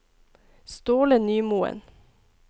Ståle Nymoen